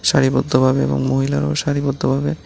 সারিবদ্ধভাবে এবং মহিলারাও সারিবদ্ধভাবে --